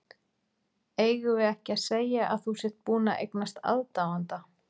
Eigum við ekki að segja að þú sért búinn að eignast aðdáanda!